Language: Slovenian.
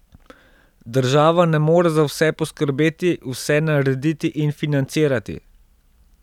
Država ne more za vse poskrbeti, vse narediti in financirati.